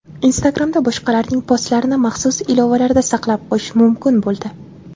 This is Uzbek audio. Instagram’da boshqalarning postlarini maxsus ilovalarda saqlab qo‘yish mumkin bo‘ldi.